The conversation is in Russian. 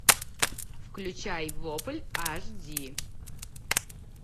включай вопль аш ди